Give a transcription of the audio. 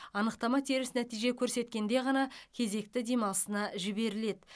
анықтама теріс нәтиже көрсеткенде ғана кезекті демалысына жіберіледі